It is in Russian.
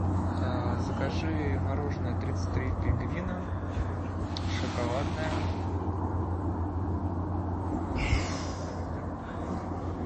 закажи мороженое тридцать три пингвина шоколадное